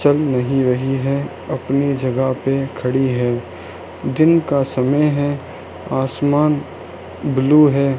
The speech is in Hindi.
चल नहीं रही है अपनी जगह पे खड़ी है दिन का समय है आसमान ब्लू है।